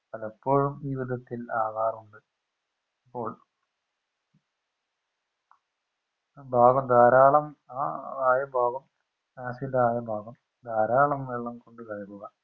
പലപ്പോഴും ജീവിതത്തിൽ ആവാറുണ്ട്‌ അപ്പോൾ ആഭാഗം ധാരാളം ആ ആയഭാഗം acid ആയ ഭാഗം ധാരാളം വെള്ളം കൊണ്ട് കഴുകുക